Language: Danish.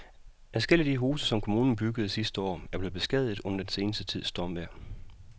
Adskillige af de huse, som kommunen byggede sidste år, er blevet beskadiget under den sidste tids stormvejr.